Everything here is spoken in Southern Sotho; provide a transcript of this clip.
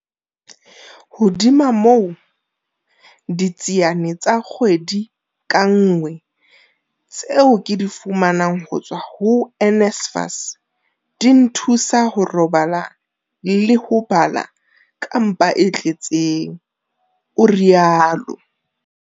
Hodima moo, ditsiane tsa kgwedi ka nngwe tseo ke di fumanang ho tswa ho NSFAS di nthusa ho robala le ho bala ka mpa e tle tseng, o rialo.